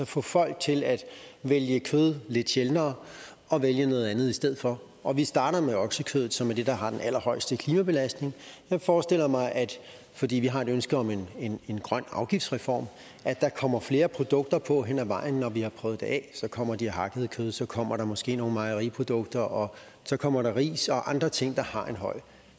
få folk til at vælge kød lidt sjældnere og vælge noget andet i stedet for og vi starter med oksekødet som er det der har den allerhøjeste klimabelastning jeg forestiller mig fordi vi har et ønske om en grøn afgiftsreform at der kommer flere produkter på hen ad vejen når vi har prøvet det af så kommer der det hakkede kød så kommer der måske nogle mejeriprodukter og så kommer der ris og andre ting der har en høj